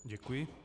Děkuji.